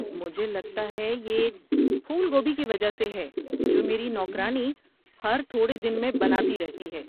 مجھے لگتا ہے کہ یہ پھول گوبھی کی وجہ سے ہے جو میری نوکرانی ہر تھوڑے دن میں بناتی رہتی ہے۔